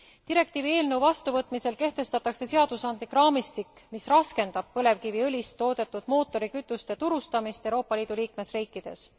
Direktiivi eelnõu vastuvõtmisel kehtestatakse seadusandlik raamistik, mis raskendab põlevkiviõlist toodetud mootorikütuste turustamist Euroopa Liidu liikmesriikides.